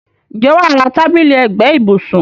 Ǹjẹ́ wà á ra tábìlì ẹ̀gbẹ́ ibùsùn.